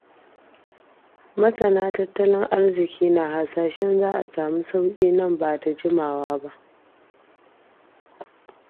Masana tattalin arziki na hasashen za a sami sauƙi nan ba da jimawa ba.